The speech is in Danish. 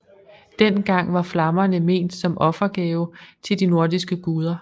Dengang var flammerne ment som offergave til de nordiske guder